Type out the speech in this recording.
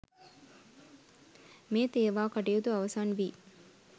මේ තේවා කටයුතු අවසන් වී